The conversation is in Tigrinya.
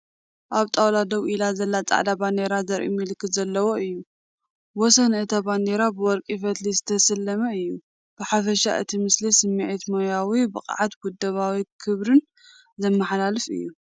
ኣብ ጣውላ ደው ኢላ ዘላ ጻዕዳ ባንዴራ ዘርኢ ምልክት ዘለዎ እዩ። ወሰን እታ ባንዴራ ብወርቂ ፈትሊ ዝተሰለመ እዩ። ብሓፈሻ እቲ ምስሊ ስምዒት ሞያዊ ብቕዓትን ውደባዊ ክብርን ዘመሓላልፍ እዩ።